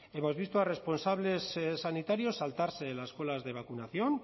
hemos visto a responsables sanitarios saltarse las colas de vacunación